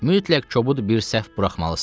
Mütləq kobud bir səhv buraxmalısan.